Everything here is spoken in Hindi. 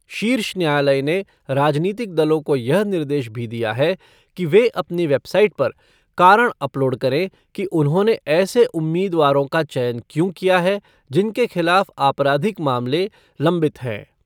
शीर्ष न्यायालय ने राजनीतिक दलों को यह निर्देश भी दिया है कि वे अपनी वैबसाईट पर कारण अपलोड करें कि उन्होंने ऐसे उम्मीदवारों का चयन क्यों किया है जिनके खिलाफ आपराधिक मामले लंबित हैं।